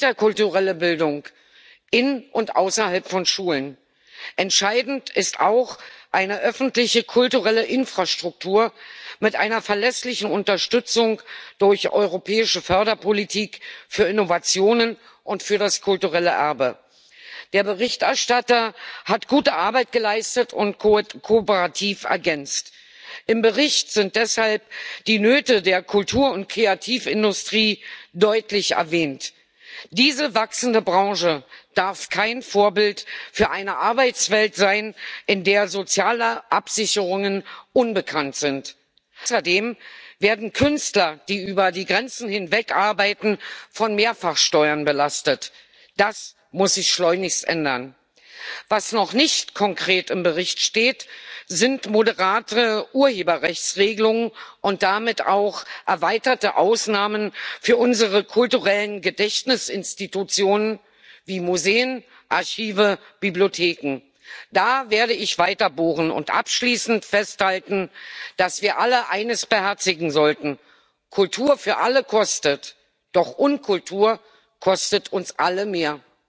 Herr Präsident, Herr Kommissar, liebe Kolleginnen und Kollegen! Im kulturellen Dialog prägen wir unsere Werte und unser Geschichtsverständnis, verhandeln, wie wir globalen Problemen menschlich begegnen ob das in einem Film oder in einem Comic passiert, literarisch oder musikalisch, ist egal. Der kulturelle Dialog ist ein Lebensmittel. Der Zugang für alle ist entscheidend. Entscheidend ist mehr interkulturelle Bildung in und außerhalb von Schulen. Entscheidend ist auch eine öffentliche kulturelle Infrastruktur mit einer verlässlichen Unterstützung durch europäische Förderpolitik für Innovationen und für das kulturelle Erbe. Der Berichterstatter hat gute Arbeit geleistet und kooperativ ergänzt. Im Bericht sind deshalb die Nöte der Kultur und Kreativindustrie deutlich erwähnt. Diese wachsende Branche darf kein Vorbild für eine Arbeitswelt sein, in der soziale Absicherungen unbekannt sind. Außerdem werden Künstler, die über die Grenzen hinweg arbeiten, mit Mehrfachsteuern belastet. Das muss sich schleunigst ändern. Was noch nicht konkret im Bericht steht, sind moderatere Urheberrechtsregelungen und damit auch erweiterte Ausnahmen für unsere kulturellen Gedächtnisinstitutionen wie Museen, Archive, Bibliotheken. Da werde ich weiter bohren und abschließend festhalten, dass wir alle eines beherzigen sollten Kultur für alle kostet, doch Unkultur kostet uns alle mehr.